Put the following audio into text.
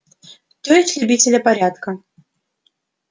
то есть любитель порядка